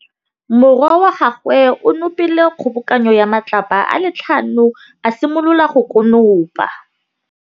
Morwa wa gagwe o nopile kgobokanô ya matlapa a le tlhano, a simolola go konopa.